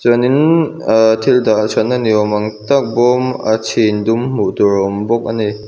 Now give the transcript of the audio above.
chuanin ah thil dah that na ni awm tak bawm a chhin dum hmuh turin a awm bawk ani.